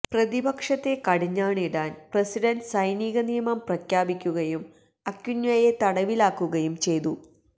പ്രതിപക്ഷത്തെ കടിഞ്ഞാണിടാൻ പ്രസിഡന്റ് സൈനികനിയമം പ്രഖ്യാപിക്കുകയും അക്വിനൊയെ തടവിലാക്കുകയും ചെയ്തു